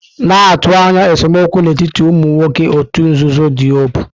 Na-atụ anya esemokwu n'etiti ụmụ nwoke òtù nzuzo Diobu.